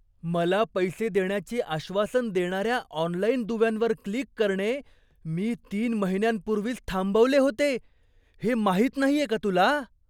मला पैसे देण्याचे आश्वासन देणाऱ्या ऑनलाइन दुव्यांवर क्लिक करणे मी तीन महिन्यांपूर्वीच थांबवले होते, हे माहित नाहीये का तुला?